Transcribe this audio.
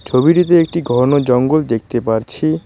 ছবিটিতে একটি ঘন জঙ্গল দেখতে পারছি।